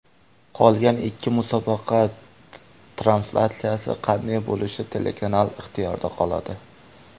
Qolgan ikki musobaqa translyatsiyasi qanday bo‘lishi telekanal ixtiyorida qoladi.